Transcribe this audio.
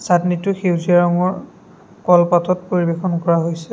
চাটনিটো সেউজীয়া ৰঙৰ কলপাতত পৰিৱেশন কৰা হৈছে।